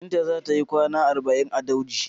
Binta za ta yikwana arba'in a daujin.